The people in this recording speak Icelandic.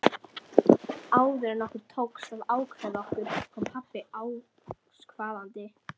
Áður en okkur tókst að ákveða okkur kom pabbi askvaðandi.